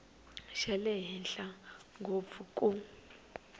xa le henhla ngopfu ku